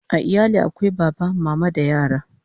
A iyali akwai Baba, Mama da yara